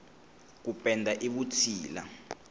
ku penda i vutshila